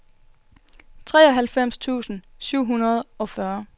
treoghalvfems tusind syv hundrede og fyrre